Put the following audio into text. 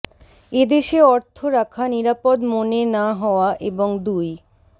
এ দেশে অর্থ রাখা নিরাপদ মনে না হওয়া এবং দুই